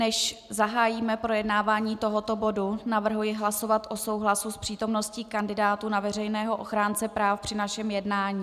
Než zahájíme projednávání tohoto bodu, navrhuji hlasovat o souhlasu s přítomností kandidátů na veřejného ochránce práv při našem jednání.